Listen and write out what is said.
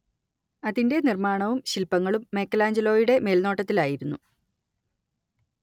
അതിന്റെ നിർമ്മാണവും ശില്പങ്ങളും മൈക്കെലാഞ്ചലോയുടെ മേൽനോട്ടത്തിലായിരുന്നു